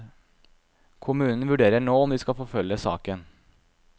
Kommunen vurderer nå om de skal forfølge saken.